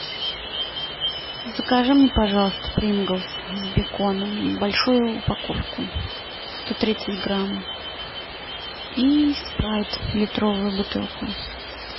закажи мне пожалуйста принглс с беконом большую упаковку сто тридцать грамм и спрайт литровую бутылку